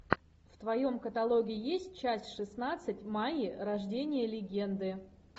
в твоем каталоге есть часть шестнадцать майя рождение легенды